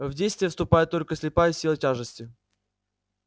в действие вступает только слепая сила тяжести